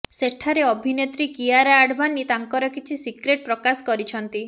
ସେଠାରେ ଅଭିନେତ୍ରୀ କିଆରା ଆଡଭାନୀ ତାଙ୍କର କିଛି ସିକ୍ରେଟ୍ ପ୍ରକାଶ କରିଛନ୍ତି